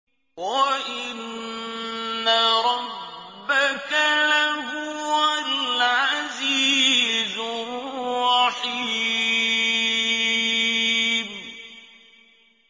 وَإِنَّ رَبَّكَ لَهُوَ الْعَزِيزُ الرَّحِيمُ